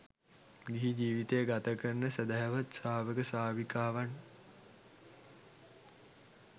ගිහි ජීවිතය ගත කරන සැදැහැවත් ශ්‍රාවක ශ්‍රාවිකාවන්